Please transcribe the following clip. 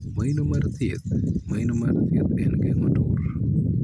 Maino mar thieth. Maino mar thieth en geng'o tur.